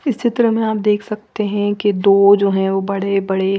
इस चित्र में आप देख सकते है की दो जो बड़े बड़े--